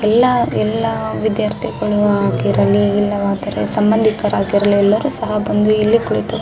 ಎಲ್ಲ ಎಲ್ಲ ವಿದ್ಯಾರ್ಥಿಗಳು ಆಗಿರಲಿ ಇಲ್ಲವಾದ್ರೆ ಸಂಬಂದಿಕರು ಆಗಿರಲಿ ಎಲ್ಲರೂ ಸಹ ಬಂದು ಇಲ್ಲಿ ಕೂಳಿತು --